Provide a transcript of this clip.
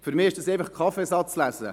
Für mich ist das Kaffeesatzlesen.